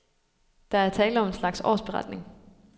Der er tale om en slags årsberetning.